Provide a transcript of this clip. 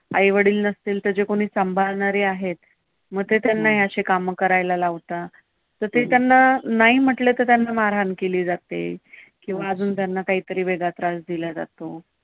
आई वडील नसले तर जे कोणी सांभाळणारे आहेत, मग ते त्यांना अशी काम करायला लावतात. तर ते नाही म्हटले तर त्यांना मारहाण केली जाते. किंवा त्यांना अजून वेगळा काहीतरी त्रास दिला जातो.